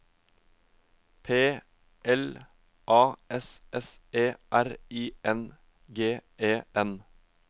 P L A S S E R I N G E N